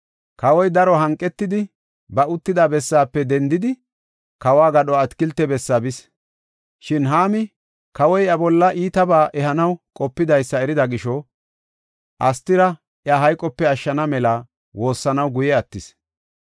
Kawoy daro hanqetidi, ba uttida bessaafe dendi, kawo gadho atakilte bessaa bis. Shin Haami kawoy iya bolla iitabaa ehanaw qopidaysa erida gisho, Astira iya hayqope ashshana mela woossanaw guye attis.